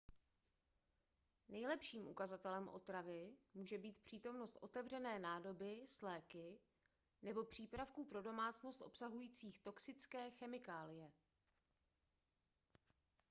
nejlepším ukazatelem otravy může být přítomnost otevřené nádoby s léky nebo přípravků pro domácnost obsahujících toxické chemikálie